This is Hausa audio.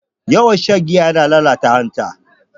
Yawan shan giya yana lalata hanta.